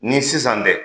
Ni sisan tɛ